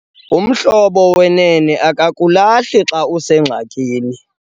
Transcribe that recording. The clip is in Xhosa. Umhlobo wenene akakulahli xa usengxakini.